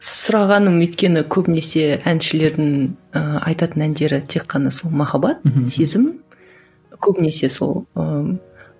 сұрағаным өйткені көбінесе әншілердің ііі айтатын әндері тек қана сол махаббат сезім көбінесе сол ыыы